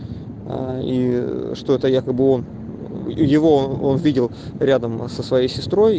и что это якобы он его он видел рядом со своей сестрой